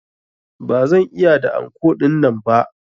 Ba zan iya da anko dinnan ba.